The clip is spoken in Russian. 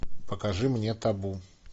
покажи мне табу